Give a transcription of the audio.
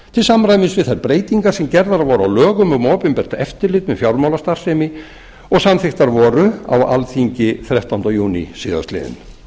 til samræmis við þær breytingar sem gerðar voru á lögum um opinbert eftirlit með fjármálastarfsemi og samþykktar voru á alþingi þrettánda júní síðastliðinn